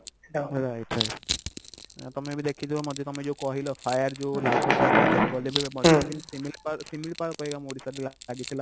right right ଆଉ ତମେ ବି ଦେଖିଥିବ ମୋତେ ତମେ ଯଉ କହିଲ fire ଯଉ ଲାଗୁଛି i mean ଜଙ୍ଗଲ ରେ ବି ଶିମିଳିପାଳ ଶିମିଳିପାଳ କହିବା ଆମ ଓଡିଶାର ଲାଗିଥିଲା